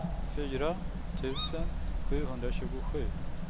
fyra tusen sjuhundratjugosju